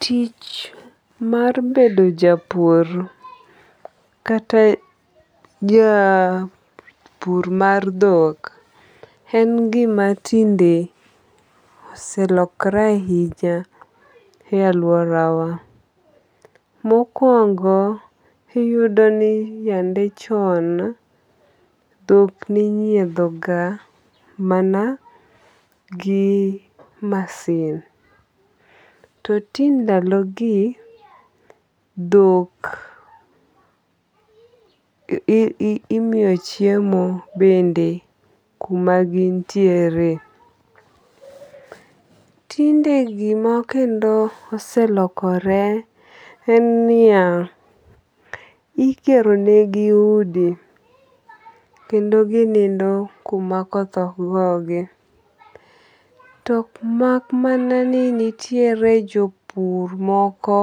Tich mar bedo japur kata japur mar dhok en gima tinde oselokore ahinya e aluorawa. Mokuongo iyudo ni yande chon dhok ninyiego ga mana gi masin. To ti ndalo gi dhok imiyo chiemo bende kuma gintiere. Tinde gima kendo oselokore en niya, igero ne gi udi kendo ginindo kuma koth ok go gi. Tok mana ni nitiere jopur moko